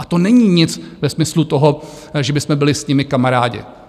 A to není nic ve smyslu toho, že bychom byli s nimi kamarádi.